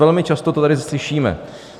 Velmi často to tady slyšíme.